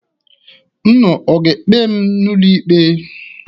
Unu ga-ekpe m n'ụlọikpe?